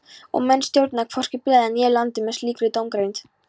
Og menn stjórna hvorki blaði né landi með slíkri dómgreind.